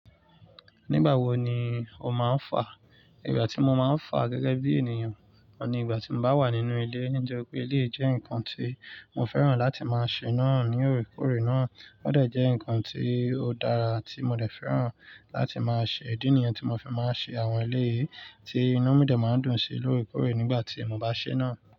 Nígbàwo ni o máa ń fà? Ìgbà tí mo máa ń fà gẹ́gẹ́ bí ènìyàn, ni ìgbà tí n bá wà nínú ilé, nítori pé eleyi jẹ́ ǹkan tí mo fẹ́ràn láti máa ṣe náà ní òrekore náà, ó dà jẹ ǹkan tí ó dára tí mo dẹ̀ fẹ́ràn láti máa ṣe, ìdí nìyẹn tí mo fi máa ń ṣe àwọn eleyì tí inu mí de máa ń dùn sí lórekore nígbà tí mo bá ṣe náà.